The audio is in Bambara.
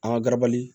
An ka garabali